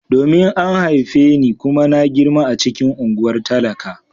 Domin an haife ni kuma na girma a cikin unguwar talaka.